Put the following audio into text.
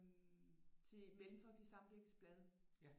Til Mellemfolkeligt Samvirkes blad